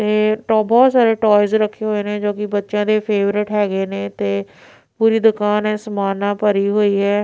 ਤੇ ਟੋ ਬਹੁਤ ਸਾਰੇ ਟੋਇਜ਼ ਰੱਖੇ ਹੋਏ ਨੇ ਜੋ ਕਿ ਬੱਚਿਆਂ ਦੇ ਫੇਵਰਟ ਹੈਗੇ ਨੇ ਤੇ ਪੂਰੀ ਦੁਕਾਨ ਆ ਏ ਸਮਾਨ ਨਾਲ ਭਰੀ ਹੋਈ ਹੈ।